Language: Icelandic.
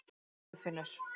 Guðfinnur